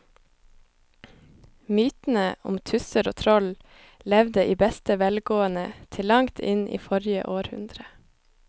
Mytene om tusser og troll levde i beste velgående til langt inn i forrige århundre.